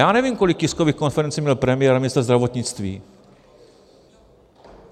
Já nevím, kolik tiskových konferencí měl premiér a ministr zdravotnictví.